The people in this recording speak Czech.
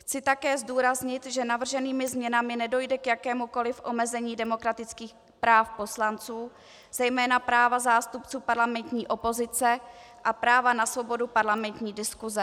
Chci také zdůraznit, že navrženými změnami nedojde k jakémukoliv omezení demokratických práv poslanců, zejména práva zástupců parlamentní opozice a práva na svobodu parlamentní diskuse.